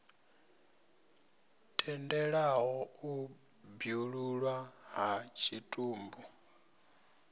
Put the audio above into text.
tendelaho u bwululwa ha tshitumbu